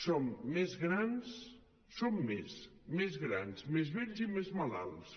som més grans som més som grans més vells i més malalts